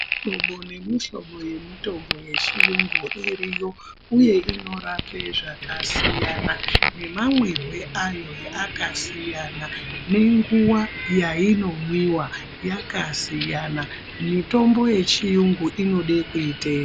Mihlobo nemihlobo yemitombo yechiyungu iriyo uye inorape zvakasiyana, namamwirwe ayo akasiyana, nenguwa yainomwiwa yakasiyana. Mitombo yechiyungu inode kuiteedza.